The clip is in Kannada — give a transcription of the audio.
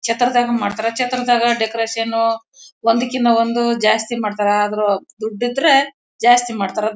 ಛತ್ರದಾಗೆ ಮಾಡ್ತಾರೆ ಛತ್ರದಾಗೆ ಡೆಕೋರೇಷನ್ ಒಂದಕ್ಕಿನ್ನ ಒಂದು ಜಾಸ್ತಿ ಮಾಡ್ತಾರೆ. ಆದರೂ ದುಡ್ಡಿದ್ರೆ ಜಾಸ್ತಿ ಮಾಡ್ತಾರೆ.